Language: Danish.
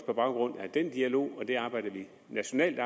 på baggrund af den dialog og det arbejde vi på nationalt